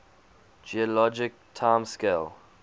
geologic time scale